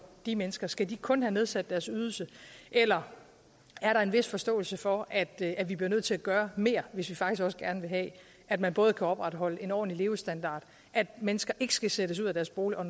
de mennesker skal de kun have nedsat deres ydelse eller er der en vis forståelse for at at vi bliver nødt til at gøre mere hvis vi faktisk også gerne vil have at man både kan opretholde en ordentlig levestandard og at mennesker ikke skal sættes ud af deres bolig og